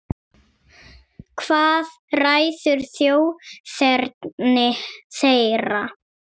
Hvað ræður þjóðerni þeirra?